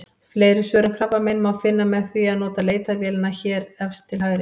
Fleiri svör um krabbamein má finna með því að nota leitarvélina hér efst til hægri.